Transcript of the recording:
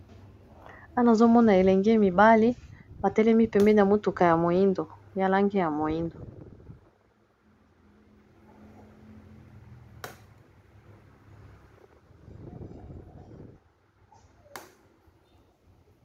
Wana azomona elenge mibali batelemi pembe, na motuka ya moindo ya lange ya moindo.